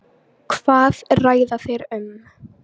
Hvað ræða þeir um?